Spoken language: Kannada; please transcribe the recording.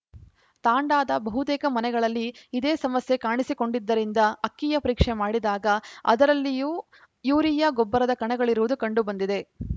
ತಾಂಡಾದ ಬಹುತೇಕ ಮನೆಗಳಲ್ಲಿ ಇದೇ ಸಮಸ್ಯೆ ಕಾಣಿಸಿಕೊಂಡಿದ್ದಿರಿಂದ ಅಕ್ಕಿಯ ಪರೀಕ್ಷೆ ಮಾಡಿದಾಗ ಅದರಲ್ಲೂ ಯೂರಿಯಾ ಗೊಬ್ಬರದ ಕಣಗಳಿರುವುದು ಕಂಡು ಬಂದಿದೆ